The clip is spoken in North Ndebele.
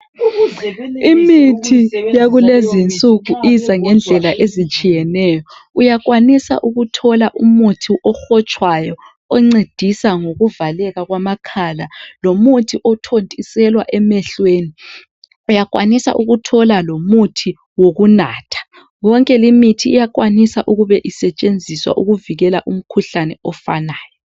Imithi yakulezi insuku iza ngendlela ezithsiyeneyo. Uyakwanisa ukuthola umithi ehotshwayo oncedisa ngokuvaleka kwamakhala lomuthi othontiselwa emehlweni. Uyakwanisa ukuthola lomuthi wokunatha. Yonke imithi iyakwanisa ukube isetshenziswa ukuvikela umkhuhlane ofanayo.